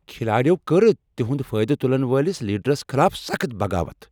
کھلاڑٮ۪و کٔر تہنٛد فٲیدٕ تلن وٲلس لیڈرس خلاف سخت بغاوت۔